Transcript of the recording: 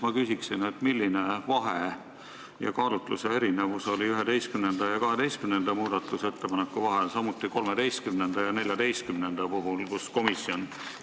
Ma küsin vahe ja kaalutluse erinevuse kohta 11. ja 12. muudatusettepaneku, samuti 13. ja 14. ettepaneku puhul.